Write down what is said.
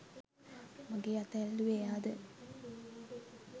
මගෙ අත ඇල්ලුවෙ එයාද